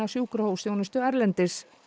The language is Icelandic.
sjúkrahúsþjónustu erlendis